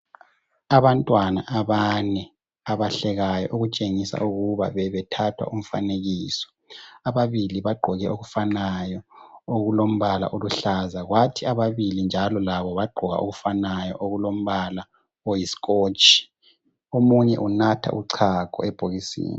Abantwana abane abahlekayo okutshengisa ukuba bebe thathwa umfanekiso. Ababili bagqoke okufanayo okulo mbala oluhlaza kwathi ababili njalo labo bagqoka okufanayo okulombala oyi scotch. Omunye unatha uchago ebhokisini